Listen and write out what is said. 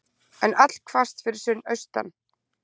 Enn allhvasst fyrir austan